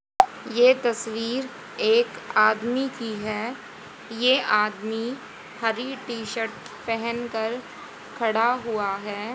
यह तस्वीर एक आदमी की है। यह आदमी हरि टी शर्ट पहन कर खड़ा हुआ है।